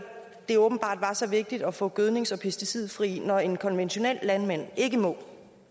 det åbenbart var så vigtigt at få gødnings og pesticidfri når en konventionel landmand ikke må